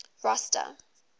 rosta